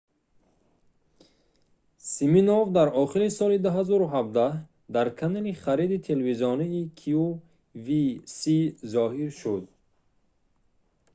симинов дар охири соли 2017 дар канали хариди телевизионии qvc зоҳир шуд